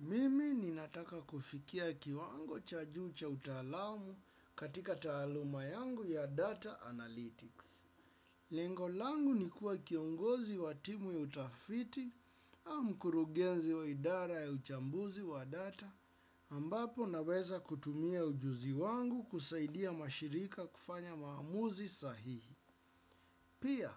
Mimi ninataka kufikia kiwango cha juu cha utaalamu katika taaluma yangu ya data analytics. Lengo langu ni kuwa kiongozi wa timu ya utafiti au mkurugenzi wa idara ya uchambuzi wa data ambapo naweza kutumia ujuzi wangu kusaidia mashirika kufanya maamuzi sahihi. Pia,